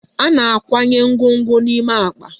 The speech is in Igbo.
A na-akwanye ngwongwo n'ime akpa